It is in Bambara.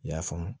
I y'a faamu